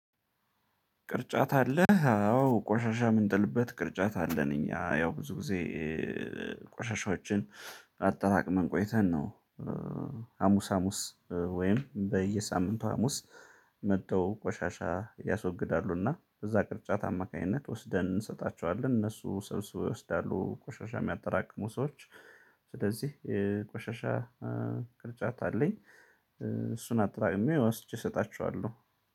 ቅርጫት አለህ አዎ ቆሻሻ የምንጥልበት ቅርጫት አለን እኛ ያው ብዙ ጊዜ ቆሻሻዎችን አጠራቅመን ቆይተን ነው። ሀሙስ ሀሙስ ወይም በየሳምንቱ ሀሙስ መተው ቆሻሻ ያስወግዳሉ እና በዛ ቅርጫት አማካኝነት ወስደን እንሰጣቸዋለን እነሱ ሰብስበው ይወስዳሉ ቆሻሻ የምያጠራቅሙ ሰዎች። ስለዚህ የቆሻሻ ቅርጫት አለኝ። እሱን አጠራቅሜ ወስጄ እሰጣቸዋለሁ።